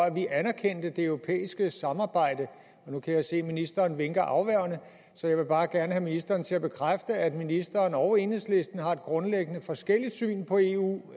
at vi anerkender det europæiske samarbejde nu kan jeg se at ministeren vinker afværgende så jeg vil bare gerne have ministeren til at bekræfte at ministeren og enhedslisten har et grundlæggende forskelligt syn på eu